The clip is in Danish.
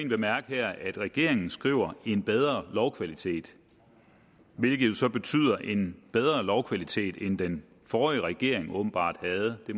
bemærke her at regeringen skriver en bedre lovkvalitet hvilket jo så betyder en bedre lovkvalitet end den forrige regering åbenbart havde det